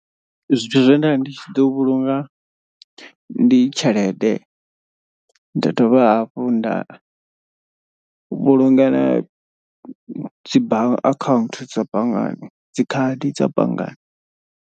Zwithu zwe nda ndi tshi ḓo vhulunga ndi tshelede. Nda dovha hafhu nda vhulunga na dzi ba akhaunthu dza banngani dzi khadi dza banngani.